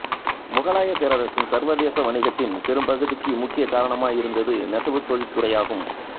முகலாயப் பேரரசின் சர்வதேச வணிகத்தின் பெரும் பகுதிக்கு முக்கிய காரணமாயிருந்தது நெசவுத் தொழிற்துறையாகும்